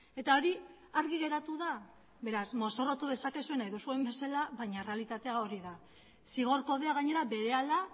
eta hori argi geratu da beraz mozorrotu dezakezue nahi duzuen bezala baina errealitatea hori da zigor kodea gainera berehala